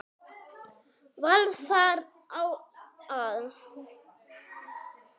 Var þar á að